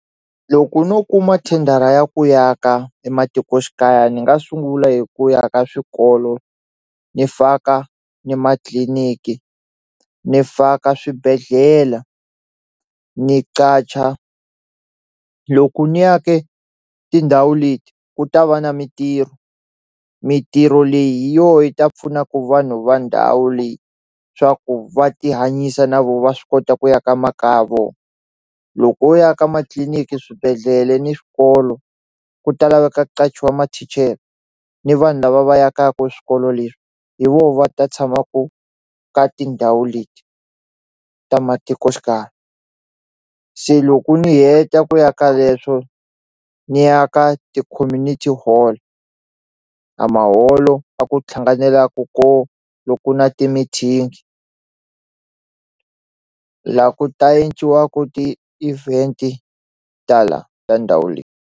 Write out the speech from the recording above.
Loko no kuma thendara ya ku ya ka ematikoxikaya ni nga sungula hi ku aka swikolo ni faka ni matliliniki ni faka swibedhlela ni qacha loko ni ake tindhawu leti ku ta va na mintirho mintirho leyi hi yo yi ta pfunaku vanhu va ndhawu leyi swaku va ti hanyisa na vo va swi kota ku ya kaya vo loko wo yaka matliliniki swibedhlele ni swikolo ku ta laveka ku qachiwa mathicare ni vanhu lava va yakaku swikolo leswi hi vo va ta tshamaku ka tindhawu leti ta matikoxikaya se loko ni heta ku yaka leswo ni ya ka ti-community hall a maholo a ku thlanganelaku ko loku na ti mithini la ku ta ti-event tala ta ndhawu leyi.